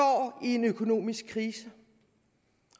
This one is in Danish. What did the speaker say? i en økonomisk krise